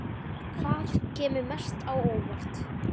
Hvaða kemur mest á óvart?